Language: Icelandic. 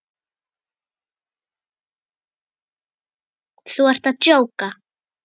Þú ert að djóka?